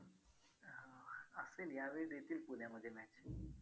अं असेल यावेळी देतील पुण्यामध्ये match